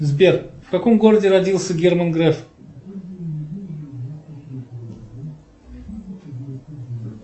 сбер в каком городе родился герман греф